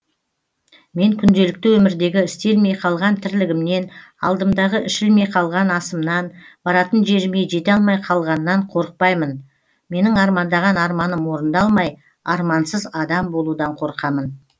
мен күнделікті өмірдегі істелмей қалған тірлігімнен алдымдағы ішілмей қалған асымнан баратын жеріме жете алмай қалғаннан қорықпаймын менің армандаған арманым орындалмай армансыз адам болудан қорқамын